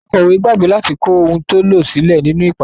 Akọ̀wé gbàgbé láti kó ohun tó lọ sílè nínú ìpàdé.